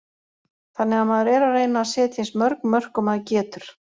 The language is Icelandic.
Þannig að maður er að reyna að setja eins mörg mörk og maður getur.